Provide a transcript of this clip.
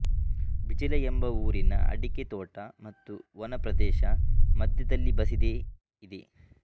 ಬಿಜಿಲ ಎಂಬ ಊರಿನ ಅಡಿಕೆ ತೋಟ ಮತ್ತು ವನ ಪ್ರದೇಶ ಮಧ್ಯದಲ್ಲಿ ಬಸಿದೆ ಇದೆ